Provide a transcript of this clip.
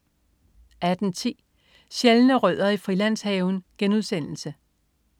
18.10 Sjældne rødder i Frilandshaven*